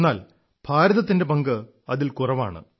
എന്നാൽ ഭാരതത്തിന്റെ പങ്ക് അതിൽ കുറവാണ്